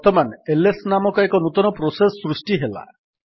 ବର୍ତ୍ତମାନ ଏଲଏସ୍ ନାମକ ଏକ ନୂତନ ପ୍ରୋସେସ୍ ସୃଷ୍ଟି ହେଲା